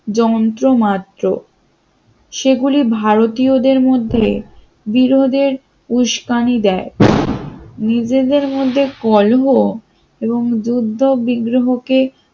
যন্ত্র মাত্র সেগুলি ভারতীয়দের মধ্যে বিরোধের উস্কানি দেয়। নিজেদের মধ্যে কলহ এবং যুদ্ধ-বিগ্রহ কে